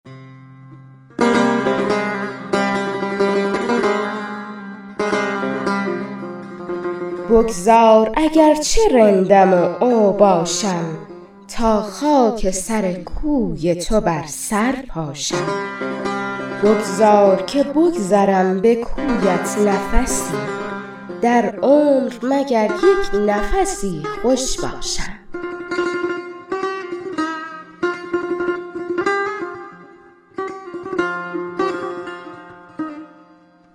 بگذار اگر چه رندم و اوباشم تا خاک سر کوی تو بر سر پاشم بگذار که بگذرم به کویت نفسی در عمر مگر یک نفسی خوش باشم